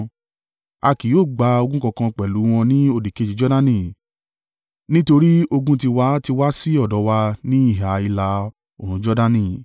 A kì yóò gba ogún kankan pẹ̀lú wọn ní òdìkejì Jordani, nítorí ogún ti wa, ti wá sí ọ̀dọ̀ wa ní ìhà ìlà-oòrùn Jordani.”